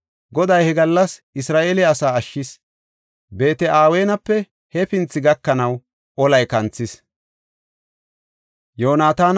Goday he gallas Isra7eele asaa ashshis. Beet-Aweenape hefinthi gakanaw olay kanthis.